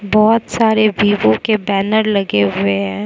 बहोत सारे वीवो के बैनर लगे हुए हैं।